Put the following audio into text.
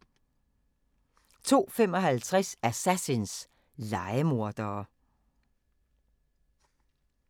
02:55: Assassins – lejemordere